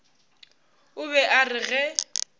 o be a re ge